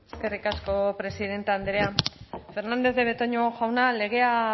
eskerrik asko presidente andrea fernandez de betoño jauna legea